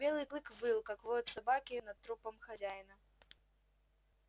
белый клык выл как воют собаки над трупом хозяина